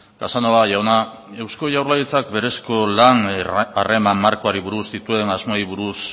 casanova jauna eusko jaurlaritzak berezko lan harreman markoari buruz dituen asmoei buruz